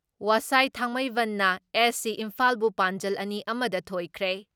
ꯋꯁꯥꯏ ꯊꯥꯡꯃꯩꯕꯟꯅ ꯑꯦꯐ.ꯁꯤ ꯏꯝꯐꯥꯜꯕꯨ ꯄꯥꯟꯖꯜ ꯑꯅꯤ ꯑꯃ ꯗ ꯊꯣꯏꯈ꯭ꯔꯦ ꯫